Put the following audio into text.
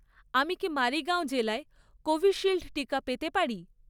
আমি কি মারিগাঁও জেলায় কোভিশিল্ড টিকা পেতে পারি?